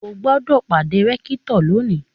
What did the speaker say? O gbọ́dọ̀ pàdé rẹ́kítọ̀ lónìí!